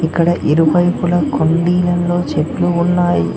అక్కడ ఇరువైపులా కుండీలలో చెట్లు ఉన్నాయి.